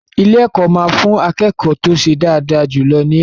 Ilé-ẹ̀kọ́ máa fún akẹ́kọ̀ọ́ tó ṣe dáadáa jù lọ ní ẹ̀bùn.